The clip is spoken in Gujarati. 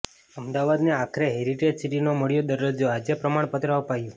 અમદાવાદને આખરે હેરિટેજ સિટીનો મળ્યો દરજ્જો આજે પ્રમાણપત્ર અપાયું